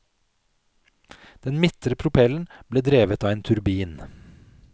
Den midtre propellen ble drevet av en turbin.